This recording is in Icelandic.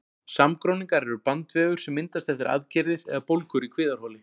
Samgróningar eru bandvefur sem myndast eftir aðgerðir eða bólgur í kviðarholi.